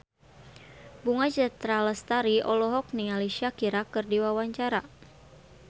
Bunga Citra Lestari olohok ningali Shakira keur diwawancara